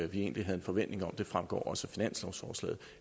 vi egentlig havde en forventning om og det fremgår også